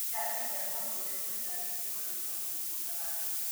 Nĩngateithia mũndũ ũrĩa tũriganĩtie kũrĩmĩra kamũgũnda gake